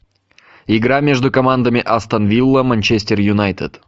игра между командами астон вилла манчестер юнайтед